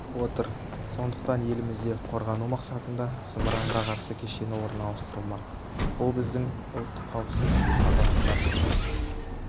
отыр сондықтан елімізде қорғану мақсатында зымыранға қарсы кешені орналастырылмақ бұл біздің ұлттық қауіпсіздік пен азаматтарымыздың